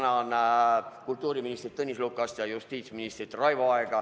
Ma tänan kultuuriminister Tõnis Lukast ja justiitsminister Raivo Aega!